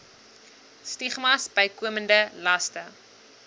stigmas bykomende laste